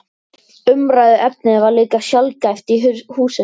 Umræðuefnið var líka sjaldgæft í húsinu.